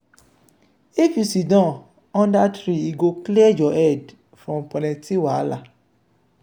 if you siddon under tree e go clear your head from plenty wahala.